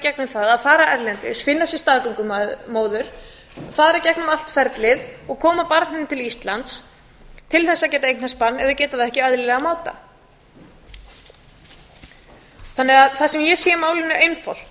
gegnum það að fara erlendis finna sér staðgöngumóður fara í gegnum allt ferlið og koma barninu til íslands til að geta eignast barn ef við getum það ekki á eðlilegan máta það sem ég sé í málinu er